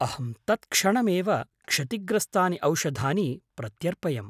अहं तत्क्षणमेव क्षतिग्रस्तानि औषधानि प्रत्यर्पयम्।